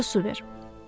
Doyunca su ver.